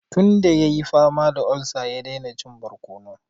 Tun da ya yi fama da olsa, ya daina cin barkono.